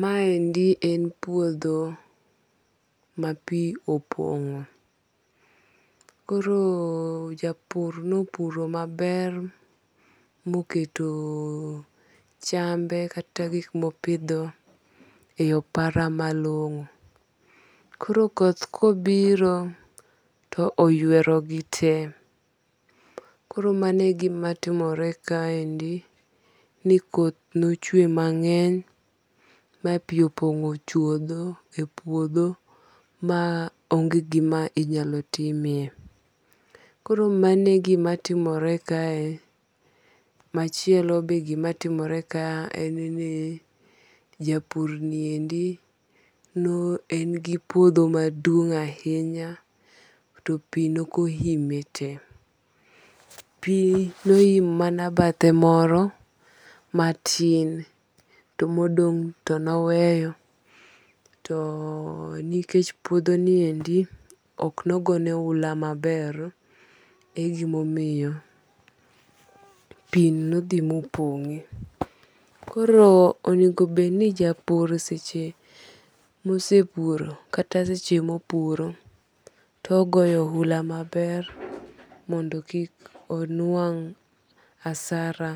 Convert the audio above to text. Ma endi en puodho ma pi opong'o. Koro japur nopuro maber moketo chambe kata gik mopidho e opara malong'o. Koro koth kobiro, to oywero gi te. Koro mano e gima timore ka endi ni koth nochwe mang'eny ma pi opong'o chuodho e puodho ma onge gima inyalo timie. Koro mane gima timore kae. Machielo be gima timore ka en ni japur ni endi no en gi piodho maduong' ahinya to pi nokoime te. Pi noimo mana bathe moro matin to modong' to noweyo. To nikech puodho ni endi ok nogone oula maber e gimomiyo pi nodhi mopong'e. Koro onego bed ni japur sech mosepuro kata seche mopuro to goyo oula maber mondo kik onuang' asara